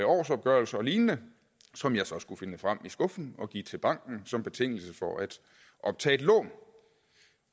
årsopgørelse og lignende som jeg så skulle finde frem i skuffen og give til banken som betingelse for at optage et lån